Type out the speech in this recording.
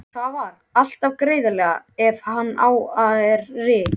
Svarar alltaf greiðlega ef á hana er yrt.